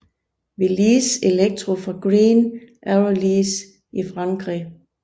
Velis Electro fra Green Aerolease i Frankrig